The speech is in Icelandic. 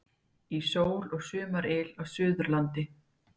Í sól og sumaryl á Suðurlandi